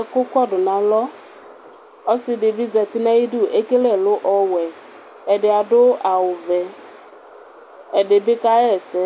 ɛkʋ kɔdʋ nʋ akɔ, ɔsidibi zati nʋ ayʋ idʋ ɛkele ɛlʋ ɔwɛ, ɛdi adʋ awʋvɛ, ɛdibi kaxa ɛsɛ